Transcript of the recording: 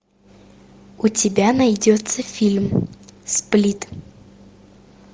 у тебя найдется фильм сплит